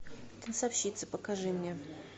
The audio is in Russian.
танцовщица покажи мне